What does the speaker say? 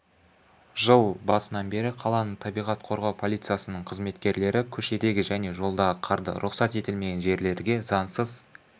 жыл басынан бері қаланың табиғат қорғау полициясының қызметкерлері көшедегі және жолдағы қарды рұқсат етілмеген жерлерге заңсыз